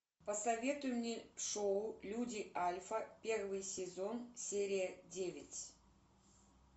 посоветуй мне шоу люди альфа первый сезон серия девять